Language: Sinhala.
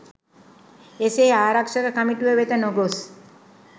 එසේ ආරක්‍ෂක කමිටුව වෙත නොගොස්